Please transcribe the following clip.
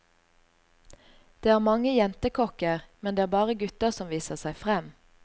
Det er mange jentekokker, men det er bare gutta som viser seg frem.